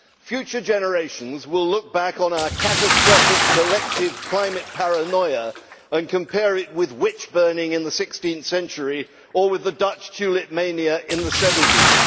Future generations will look back on our catastrophic collective climate paranoia and compare it with witch burning in the 16th century, or with the Dutch tulip mania in the 17th.